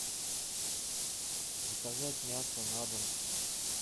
заказать мясо на дом